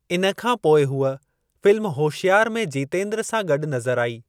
इन खां पोइ हूअ फ़िल्म होशियार में जितेंद्र सां गॾु नज़र आई।